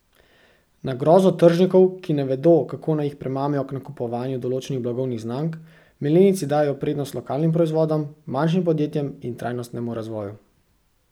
Na grozo tržnikov, ki ne vedo, kako naj jih premamijo k nakupovanju določenih blagovnih znamk, milenijci dajejo prednost lokalnim proizvodom, manjšim podjetjem in trajnostnemu razvoju.